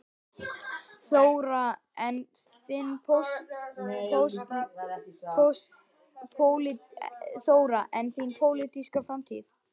Þóra: En þín pólitíska framtíð?